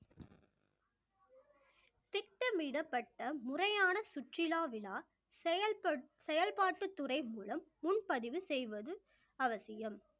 திட்டமிடப்பட்ட முறையான சுற்றுலா விழா செயல்பட்~ செயல்பாட்டுத்துறை மூலம் முன்பதிவு செய்வது அவசியம்